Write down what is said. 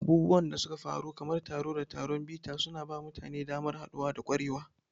Abubuwan da suka faru kamar taro da taron bita suna ba mutane damar haɗuwa da ƙwarewa.